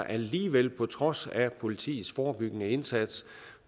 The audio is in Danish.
alligevel på trods af politiets forebyggende indsats